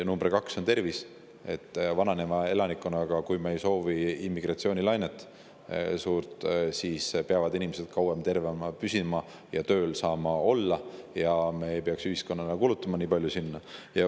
Number kaks on tervis, sest vananeva elanikkonnaga riigis, kui me ei soovi suurt immigratsioonilainet, peavad inimesed kauem tervena püsima ja saama tööl olla, et me ei peaks ühiskonnana nii palju kulutama.